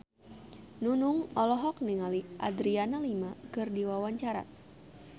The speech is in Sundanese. Nunung olohok ningali Adriana Lima keur diwawancara